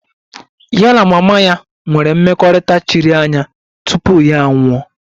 Ya na mama ya nwere mmekọrịta chiri anya tupu ya anwụọ